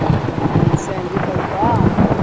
ಆ ಶ್ಯಾವ್ಗಿ ಪಾಯ್ಸ.